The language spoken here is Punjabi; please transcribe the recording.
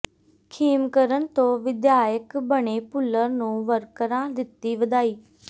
ਖੇਮਕਰਨ ਤੋਂ ਵਿਧਾਇਕ ਬਣੇ ਭੁੱਲਰ ਨੂੰ ਵਰਕਰਾਂ ਦਿੱਤੀ ਵਧਾਈ